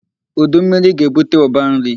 Udu mmiri ga-ebute ụba nri.